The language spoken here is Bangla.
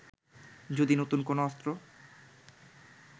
যদি নতুন কোন অস্ত্র